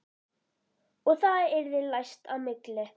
Og það yrði læst á milli.